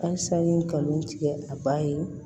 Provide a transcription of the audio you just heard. Halisa n ye kanu tigɛ a ba ye